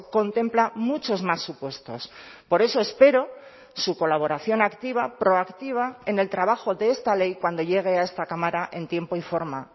contempla muchos más supuestos por eso espero su colaboración activa proactiva en el trabajo de esta ley cuando llegue a esta cámara en tiempo y forma